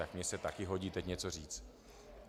Tak mně se také hodí teď něco říci.